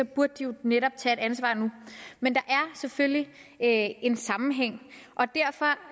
burde de jo netop tage et ansvar nu men der er selvfølgelig en sammenhæng og derfor